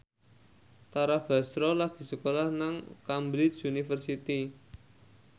Tara Basro lagi sekolah nang Cambridge University